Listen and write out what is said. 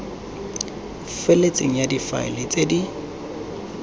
feletseng ya difaele tse di